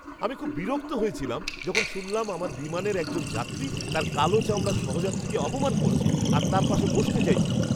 আমি খুব বিরক্ত হয়েছিলাম যখন শুনলাম আমার বিমানের একজন যাত্রী তার কালো চামড়ার সহযাত্রীকে অপমান করছে আর তার পাশে বসতে চাইছে না।